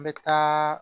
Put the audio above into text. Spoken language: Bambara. N bɛ taa